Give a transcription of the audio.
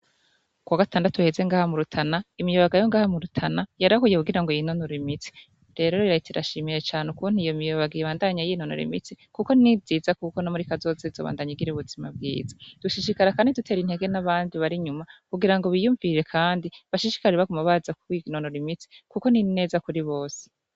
Kuwa gatandatu uheze ngaha mu Rutana, imiyabaga yo ngaha mu Rutana yarahuye, kugira ngo yinonore imitsi. Rero Leta irashimye cane ukuntu iyo miyabaga ibandanya yinonora imitsi kuko nivyiza; kuko no muri kazoza izobandanya igira ubuzima bwiza. Dushishikara kandi dutera intege n'abandi bari nyuma kugira ngo biyumvire kandi bashishikare baguma baza kwinonora imitsi kuko ni ineza kuri bose.